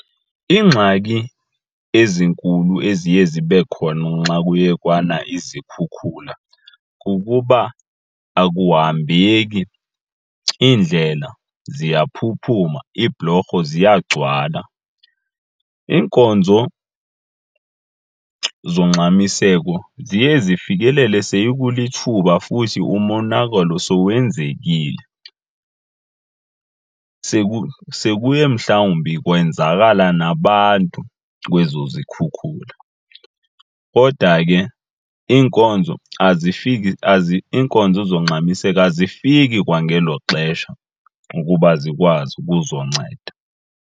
Iingxaki ezinkulu eziye zibe khona nxa kuye kwana izikhukhula kukuba akuhambeki, iindlela ziyaphuphuma, iibhulorho ziyagcwala. Iinkonzo zongxamiseko ziye zifikelele sekulithuba futhi umonakalo sowenzekile sekuye mhlawumbi kwenzakala nabantu kwezo zikhukhula. Kodwa ke iinkonzo azifiki , iinkonzo zongxamiseko azifiki kwangelo xesha ukuba zikwazi ukuzonceda.